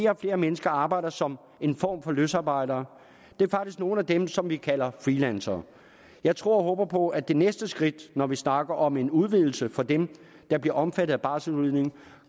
og flere mennesker arbejder som en form for løsarbejdere det er faktisk nogle af dem som vi kalder freelancere jeg tror og håber på at med det næste skridt når vi snakker om en udvidelse for dem der bliver omfattet af barselsudligning